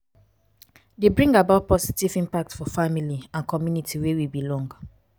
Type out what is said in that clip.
dey bring about positive impact for family and community wey we belong